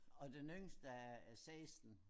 Og den yngste er er 16